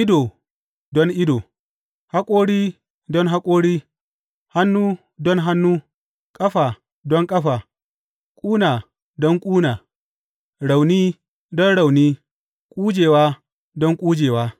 ido don ido, haƙori don haƙori, hannu don hannu, ƙafa don ƙafa, ƙuna don ƙuna, rauni don rauni, ƙujewa don ƙujewa.